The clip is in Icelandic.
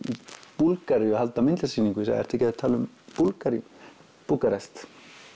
Búlgaríu að halda myndlistarsýningu og sagði ertu ekki að tala um Búlgaríu Búkarest